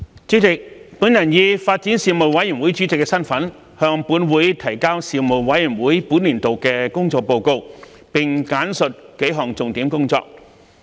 主席，我以發展事務委員會主席的身份，向本會提交事務委員會本年度的工作報告，並簡述幾項重點工作。